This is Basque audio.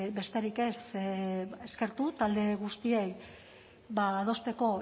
besterik ez eskertu talde guztiei ba adosteko